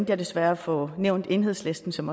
jeg desværre at få nævnt enhedslisten som